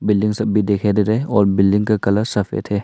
Building सब भी दिखाई दे रहे और बिल्डिंग का कलर सफेद है।